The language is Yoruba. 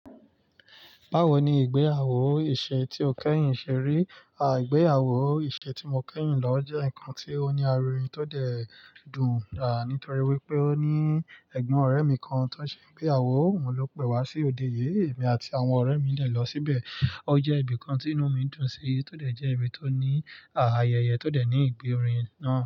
Bawo ni ìgbéyàwó ìṣe tí o kẹ́yìn ṣe rí? À ìgbéyàwó ìṣe tí mo kẹ́yìn lọ jẹ́ nǹkan tó ní arinrin tó dẹ̀ dùn, à nítòri wípé ó ní ẹ̀gbọ́n ọ̀rẹ́ mi kan tó ń ṣe ìgbéyàwó, òun ló pè wá sí òde yìí, èmi àti àwọn ọ̀rẹ́ mi le lọ síbẹ̀. Ó jẹ́ ibi kan tí inú mi dùn sí, tó dẹ̀ jẹ́ ibi tó ní ayẹyẹ, tó dẹ̀ ní ìgbérinà.